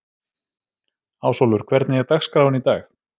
Ásólfur, hvernig er dagskráin í dag?